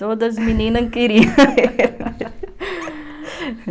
Todas as meninas queriam